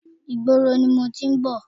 Ìgboro ni mo ti ń bọ̀.